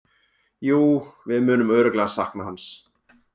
Jú, við munum örugglega sakna hans.